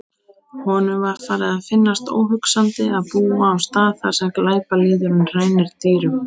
Honum var farið að finnast óhugsandi að búa á stað þar sem glæpalýðurinn rænir dýrum.